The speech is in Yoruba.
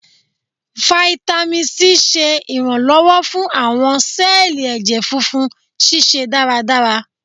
Fáítámì Sí ṣe iranlọwọ fún awọn sẹẹli ẹjẹ funfun ṣiṣẹ daradara.